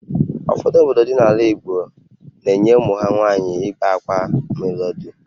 Ụfọdụ obodo dị n’ala Igbo na-enye ụmụ ha nwaanyị igbe akwa ma ha lụọ di